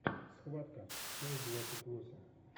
схватка часть двадцать восемь